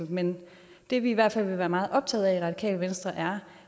men det vi i hvert fald vil være meget optaget af i radikale venstre er